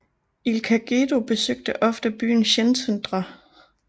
Ilka Gedő besøgte ofte byen Szentendre